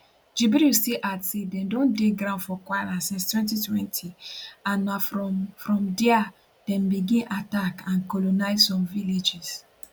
jibril still add say dem don dey for ground for kwara since 2020 and na from from dia dem begin attack and colonise some villages